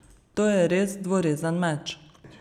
To je res dvorezen meč.